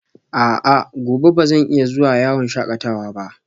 A'a, gobe ba zan iya zuwa yawon shakatawa ba?